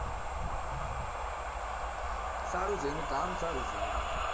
okay okay સારું જેનું કામ સારું છે